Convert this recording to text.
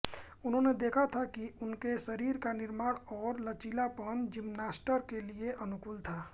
उन्होंने देखा था कि उनके शरीर का निर्माण और लचीलापन जिम्नास्ट के लिए अनुकूल था